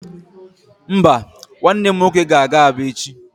Mba, nwanne m nwoke ga-aga Aba echi